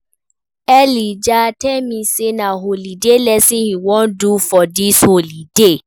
Elijah tell me say na holiday lesson he wan do for dis holiday